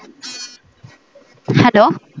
hello